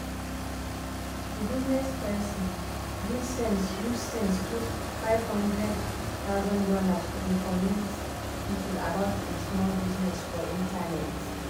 di bizness person use sense use sense put fifty thousand dollars0 to informate people about e small bizness for internet.